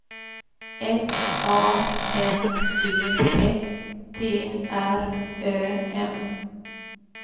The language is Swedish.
S A N D S T R Ö M